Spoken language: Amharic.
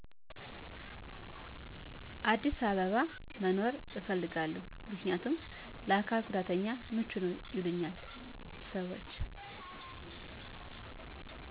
አዲስ አበባ መኖር እፈልጋለው ምክንያም ለአካል ጉዳተኛ ምቹነው ይሉኛል ሰወች